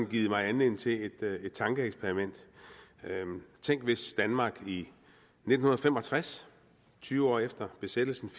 givet mig anledning til et tankeeksperiment tænk hvis danmark i nitten fem og tres tyve år efter besættelsen